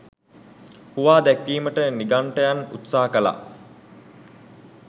හුවා දැක්වීමට නිගණ්ඨයන් උත්සාහ කළා.